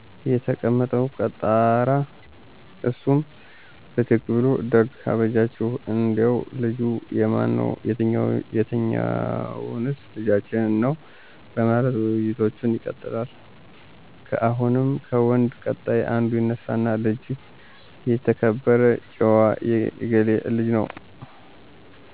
የተቀመጠው ቀጣራ እሱም ብድግ ብሉ ደግ አበጃችሁ እንዴው ልጁ የማን ነው የትኞዎንስ ልጃችን ነው በማለት ውይይቶች ይቀጥላሉ። አሁንም ከወንድ ቀጣር አንዱ ይነሱና ልጅ የተከበረ ጭዎ የገሌ ልጅ ነው